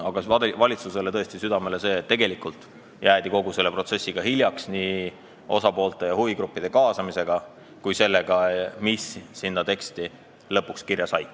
Aga valitsusele panen tõesti südamele seda, et kogu selle protsessiga jäädi hiljaks, nii osapoolte ja huvigruppide kaasamisega kui ka sellega, mis teksti lõpuks kirja sai.